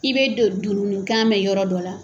I bɛ don dundun kan mɛn yɔrɔ dɔ la.